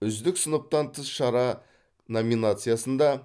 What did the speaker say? үздік сыныптан тыс шара номинациясында